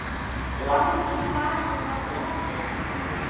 Langi barinn var opinn enn þá.